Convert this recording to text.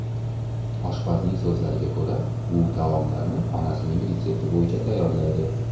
Oshpazning so‘zlariga ko‘ra, u taomlarni onasining retsepti bo‘yicha tayyorlaydi.